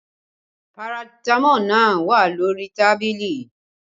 Paratamọ́ọ̀ náà wà lórí tábìlì